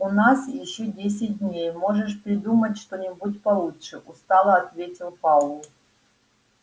у нас ещё десять дней можешь придумать что-нибудь получше устало ответил пауэлл